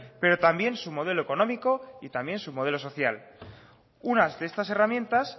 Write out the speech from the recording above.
pero también su modelo económico y también su modelo social unas de esas herramientas